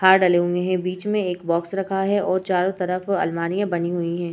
हार डलें हुए हैं बीच में एक बॉक्स रखा है और चारो तरफ अलमारियाँ बनी हुई हैं।